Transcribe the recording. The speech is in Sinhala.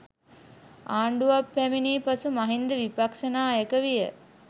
ආණ්ඩුවක් පැමිණි පසු මහින්ද විපක්ෂ නායක විය.